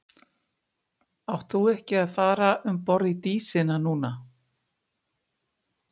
Átt þú ekki að vera að fara um borð í Dísina núna?